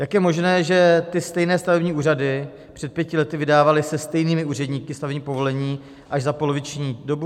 Jak je možné, že ty stejné stavební úřady před pěti lety vydávaly se stejnými úředníky stavební povolení až za poloviční dobu?